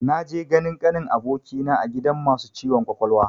Na je ganin kanin abokina a gidan masu ciwon kwakwalwa